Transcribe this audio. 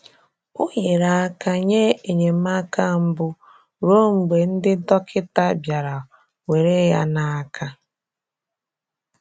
Ọ nyere aka nye enyemaka mbụ ruo mgbe ndị dọkịta bịara were ya n'aka..